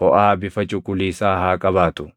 foʼaa bifa cuquliisaa haa qabaatu.